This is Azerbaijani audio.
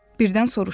Birdən soruşdu.